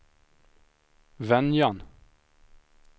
Venjan